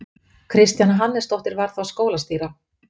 Kristjana Hannesdóttir var þá skólastýra.